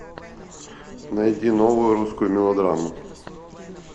найди новую русскую мелодраму